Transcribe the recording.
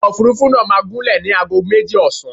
Ọkọ̀ Òfurufú náà máa gúnlẹ̀ ní ago méjì ọ̀sán.